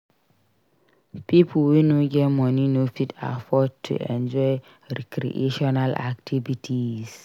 Pipo wey no get money no fit afford to enjoy recreational activities